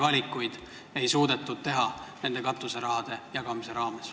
Kas tõesti ei suudetud teha paremaid valikuid katuseraha jagamisel?